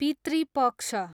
पितृ पक्ष